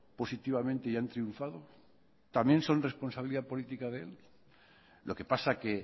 positivamente y han triunfado también son responsabilidad política de él lo que pasa es que